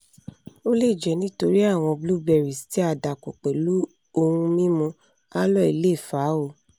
o le jẹ nitori awọn blueberries ti a dapọ pẹlu ohun mimu aloe le fa o